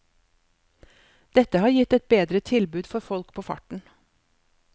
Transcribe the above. Dette har gitt et bedre tilbud for folk på farten.